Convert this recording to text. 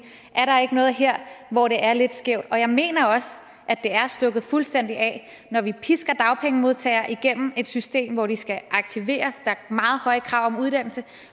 er der ikke noget her hvor det er lidt skævt og jeg mener også at det er stukket fuldstændig af når vi pisker dagpengemodtagere igennem et system hvor de skal aktiveres er meget høje krav om uddannelse